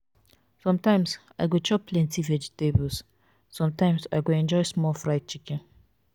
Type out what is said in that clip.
sometimes i go chop plenty vegetables sometimes i go enjoy small fried chicken